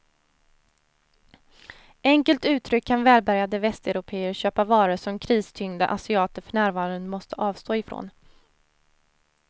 Enkelt uttryckt kan välbärgade västeuropéer köpa varor som kristyngda asiater för närvarande måste avstå ifrån.